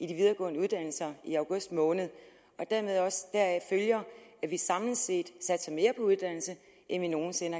de videregående uddannelser i august måned og deraf følger at vi samlet set satser mere på uddannelse end vi nogen sinde